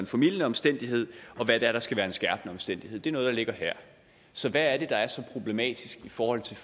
formildende omstændighed og hvad det er der skal være en skærpende omstændighed det er noget der ligger her så hvad er det der er så problematisk i forhold til